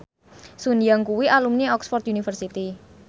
Sun Yang kuwi alumni Oxford university